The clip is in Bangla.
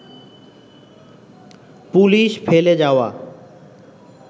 পুলিশ ফেলে যাওয়া